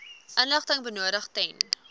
inligting benodig ten